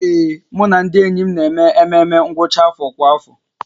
Ee, mụ na ndị enyi m na-eme ememme ngwụcha afọ kwa afọ